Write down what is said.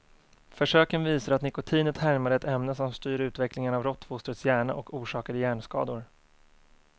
Försöken visade att nikotinet härmade ett ämne som styr utvecklingen av råttfostrets hjärna och orsakade hjärnskador.